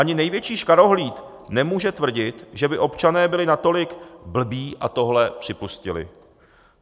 Ani největší škarohlíd nemůže tvrdit, že by občané byli natolik blbí a tohle připustili.